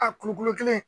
A kulukolo kelen